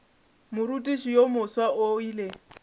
morutiši yo mofsa o ile